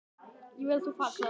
Ég vil að þú farir, sagði hún.